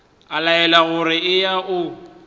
a laelwa gore eya o